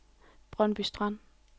Brøndby Strand